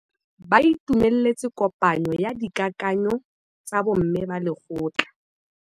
Ba itumeletse kôpanyo ya dikakanyô tsa bo mme ba lekgotla.